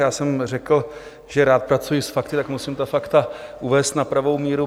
Já jsem řekl, že rád pracuji s fakty, tak musím ta fakta uvést na pravou míru.